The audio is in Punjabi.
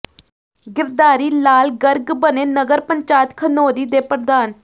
ਗਿਰਧਾਰੀ ਲਾਲ ਗਰਗ ਬਣੇ ਨਗਰ ਪੰਚਾਇਤ ਖਨੌਰੀ ਦੇ ਪ੍ਰਧਾਨ